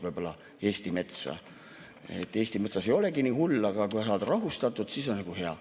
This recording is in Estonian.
Võib-olla rahusteid, et Eesti metsas ei olegi nii hull ja kui saad rahustatud, siis on nagu hea.